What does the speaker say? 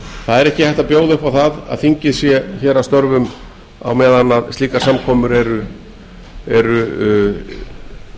það er ekki hægt að bjóða upp á það að þingið sé hér að störfum meðan slíkar samkomur eru